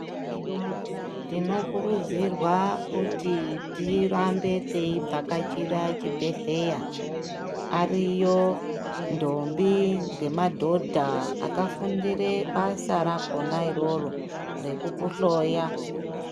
Tinokuridzirwawo kuti tirambe tei Vhakachira chibhehleya ariyo ndombi nemadhodha akafundira basa rakona iroro rekukuhloya.